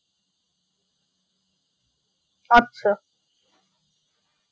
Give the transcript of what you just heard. আচ্ছা